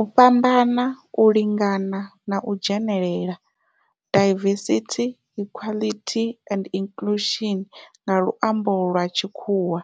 U fhambana, u lingana na u dzhenelela, diversity, equity and inclusion nga lwambo lwa tshikhuwa,